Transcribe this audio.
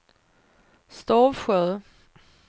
Stavsjö